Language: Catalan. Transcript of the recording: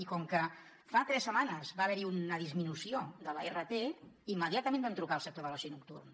i com que fa tres setmanes va haver hi una disminució de la rt immediatament vam trucar al sector de l’oci nocturn